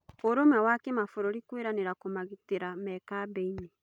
ũrũmwe wa kĩ mabũrũri kwĩ ranĩ ra kũmagitĩ ra me kambĩ inĩ